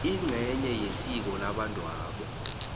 ingcenye yesiko labantwabo